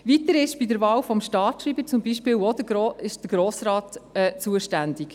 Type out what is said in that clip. Weiter ist für die Wahl des Staatschreibers zum Beispiel auch der Grosse Rat zuständig.